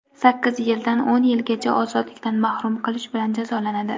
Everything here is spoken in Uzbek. sakkiz yildan o‘n yilgacha ozodlikdan mahrum qilish bilan jazolanadi.